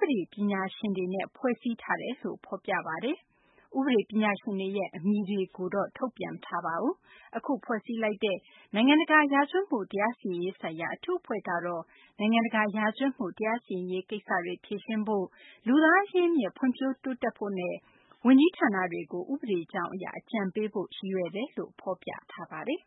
ပဒေပညာရှင်တွေနဲ့ ဖွဲ့စည်းထားတယ်လို့ ဖော်ပြထားပါတယ်။ ဥပဒေ ပညာရှင်တွေရဲ့ အမည်တွေကိုတော့ မထုတ်ပြန်သေးပါ ဘူး။ အခု ဖွဲ့စည်းလိုက်တဲ့ နိုင်ငံတကာ ရာဇဝတ်မှု တရားစီရင်ရေးဆိုင်ရာ အထူးအဖွဲ့ကတော့ နိုင်ငံတကာ ရာဇဝတ်မှု တရားစီရင်ရေး ကိစ္စတွေ ဖြေရှင်းဖို့၊ လူသားအရင်းအမြစ် ဖွံ့ဖြိုးတိုးတက်ဖို့နဲ့ ဝန်ကြီးဌာနတွေကို ဥပဒေကြောင်းအရ အကြံပေးဖို့ ရည်ရွယ်တယ်လို့ ဖော်ပြပါတယ်။